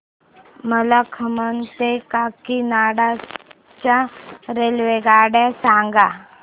मला खम्मम ते काकीनाडा च्या रेल्वेगाड्या सांगा